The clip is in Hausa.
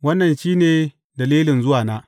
Wannan shi ne dalilin zuwana.